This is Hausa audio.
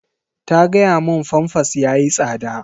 Ta gaya mun famfas yayi tsada.